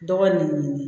Dɔgɔ nin